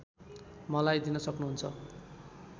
मलाई दिन सक्नहुन्छ